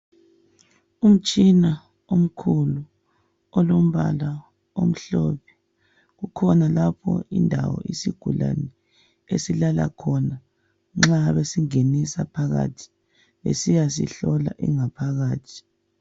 Umtshina omkhulu olombala omhlophe , kukhona lapho indawo isigulane esihlala khona nxa besingenisa phakathi besiyasihlola ingaphakathi